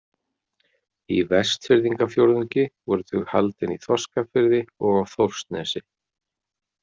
Í Vestfirðingafjórðungi voru þau haldin í Þorskafirði og á Þórsnesi.